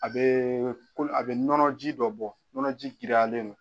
A bɛ a bɛ nɔnɔji dɔ bɔ nɔnɔji giriyalen no.